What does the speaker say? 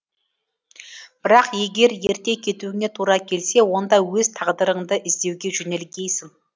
бірақ егер ерте кетуіңе тура келсе онда өз тағдырыңды іздеуге жөнелгейсің